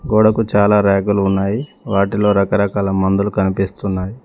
గోడకు చాలా ర్యకులు ఉన్నాయి వాటిలో రకరకాల మందులు కనిపిస్తున్నాయి.